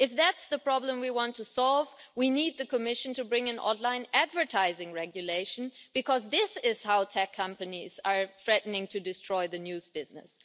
If that's the problem we want to solve, we need the Commission to bring in online advertising regulation, because this is how tech companies are threatening to destroy the news business.